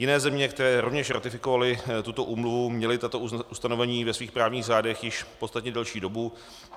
Jiné země, které rovněž ratifikovaly tuto úmluvu, měly tato ustanovení ve svých právních řádech již podstatně delší dobu.